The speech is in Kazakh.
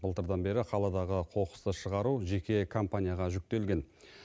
былтырдан бері қаладағы қоқысты шығару жеке компанияға жүктелген